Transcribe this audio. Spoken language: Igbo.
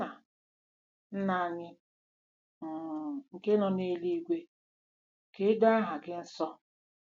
“Nna “Nna anyị um nke nọ n’eluigwe, ka e doo aha gị nsọ.